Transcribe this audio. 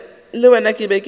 le wena ke be ke